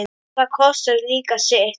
og það kostar líka sitt.